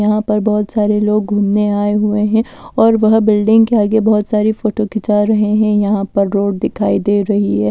यहां पर बहुत सारे लोग घूमने आए हुए हैं और वह बिल्डिंग के आगे बहुत सारी फोटो खिंचा रहे हैं यहां पर रोड दिखाई दे रही है।